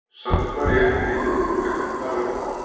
Samt var ég ekki í liðinu í leiknum þar á eftir.